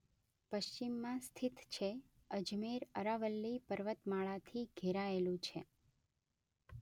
પશ્ચિમમાં સ્થિત છે.અજમેર અરાવલ્લી પર્વતમાળાથી ઘેરાયેલું છે.